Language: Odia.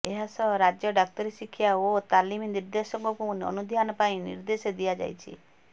ଏହାସହ ରାଜ୍ୟ ଡ଼ାକ୍ତରୀ ଶିକ୍ଷା ଓ ତାଲିମ ନିର୍ଦ୍ଦେଶକଙ୍କୁ ଅନୁଧ୍ୟାନ ପାଇଁ ନିର୍ଦ୍ଦେଶ ଦିଆଯାଇଛି